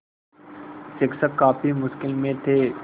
शिक्षक काफ़ी मुश्किल में थे